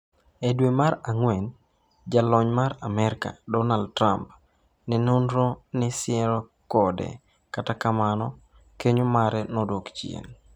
E dwe mar Ang'wen, Jalony mar Amerka, Donald Trump, ne nenore ni siere kode, kata kamano kenyo mare nodok chien.